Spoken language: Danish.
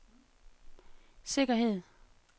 sikkerhed